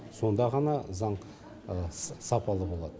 сонда ғана заң сапалы болады